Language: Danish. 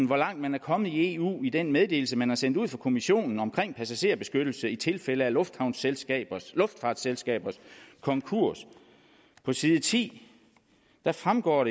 hvor langt man er kommet i eu i den meddelelse man har sendt ud fra kommissionen omkring passagerbeskyttelse i tilfælde af luftfartsselskabers luftfartsselskabers konkurs på side ti fremgår